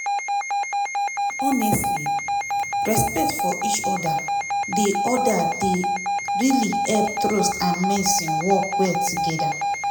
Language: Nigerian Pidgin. honestly respect for each other dey other dey really help trust and medicine work well together